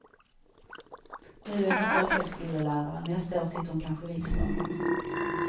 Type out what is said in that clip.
Nu är hon folkhögskolelärare, nästa år sitter hon kanske i riksdagen.